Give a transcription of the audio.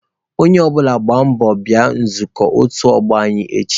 Onye ọ bụla gbaa mbọ bịa nzukọ otu ọgbọ anyị echi.